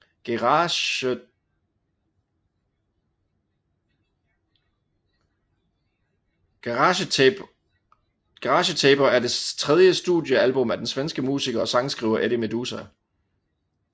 Garagetaper er det tredje studiealbum af den svenske musiker og sangskriver Eddie Meduza